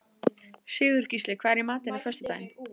Sigurgísli, hvað er í matinn á föstudaginn?